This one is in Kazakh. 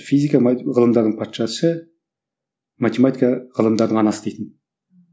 физика ғылымдардың патшасы математика ғылымдардың анасы дейтін